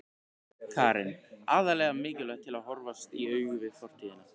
Karen: Aðallega mikilvægt til að horfast í augu við fortíðina?